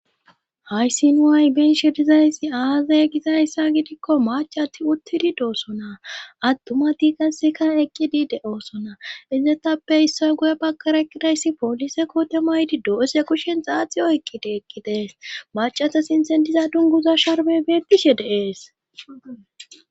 Haysin nu hay be'izay aazay gizayssa gidikko macati uttidi doosona attuma tiigasikan eqqidi de7oosona izetappe issoy guye bagkareqidayssi poolise kootemaydi do7ese kushen xaaxiyo eqqidi eqqidees macata sintendiza dunguza sharbe betishe de'ees.